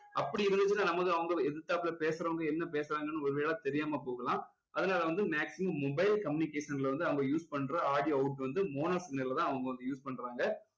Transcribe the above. அப்படி இருந்துச்சுன்னா நமக்கு அவங்க எதுத்தாப்புல பேசுறவங்க என்ன பேசுறாங்கன்னு ஒரு வேளை தெரியாம போகலாம் அதுனால வந்து maximun mobile communication ல வந்து அவங்க use பண்ற audio out வந்து mono signal ல தான் அவங்க வந்து use பண்றாங்க